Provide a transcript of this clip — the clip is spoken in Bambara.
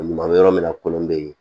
Ɲuman bɛ yɔrɔ min na kolon bɛ yen